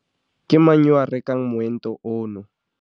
Ke mang yo a rekang moento ono?